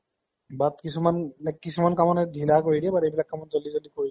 but কিছুমান like কিছুমান কামত ঢিলা কৰি দিয়ে, but এইবিলাক কামত জল্দি জল্দি কৰি দিয়ে।